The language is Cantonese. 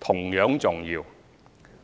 同樣重要。